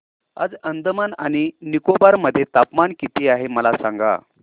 आज अंदमान आणि निकोबार मध्ये तापमान किती आहे मला सांगा